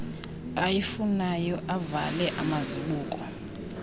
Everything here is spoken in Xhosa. ayifunayo avale amazibuko